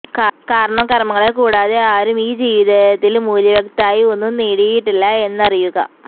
കാരണം കര്മ്മങ്ങളെക്കൂടാതെ ആരും ഈ ജീവിതത്തില് മൂല്യവത്തായി ഒന്നും നേടിയിട്ടില്ല എന്നറിയുക